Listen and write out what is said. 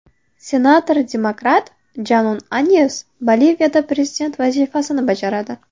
Senator-demokrat Janun Anyes Boliviyada prezident vazifasini bajaradi.